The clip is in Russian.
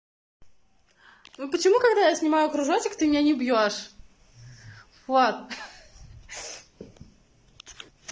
ну почему когда я снимаю кружочек ты меня не бьёшь влад ха-ха